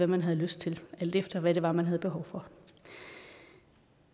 man havde lyst til alt efter hvad det var man havde behov for